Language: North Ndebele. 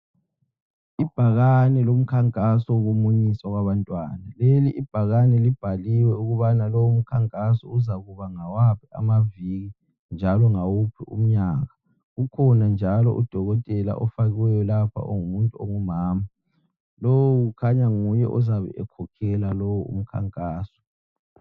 Ibhakane lomkhankaso wokumunyiswa kwabantwana. Leli ibhakane libhaliwe ukubana lowu umkhankaso uzakuba ngawaphi amaviki njalo ngawuphi umnyaka. Kukhona njalo udokotela ofakiweyo lapha ongumuntu ongumama. Lowu kukhanya nguye ozabe ekhokhela lowo umkhankaso.